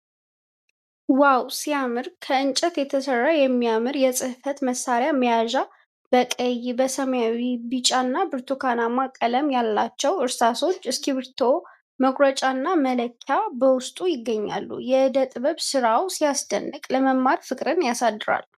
ዋው ሲያምር! ከእንጨት የተሰራ የሚያምር የጽሕፈት መሣሪያ መያዣ በቀይ፣ ሰማያዊ፣ ቢጫ እና ብርቱካናማ ቀለም ያላቸው እርሳሶች፣ እስክሪብቶ፣ መቁረጫና መለኪያ በውስጡ ይገኛሉ። የዕደ ጥበብ ስራው ሲያስደንቅ ለመማር ፍቅር ያሳድራል።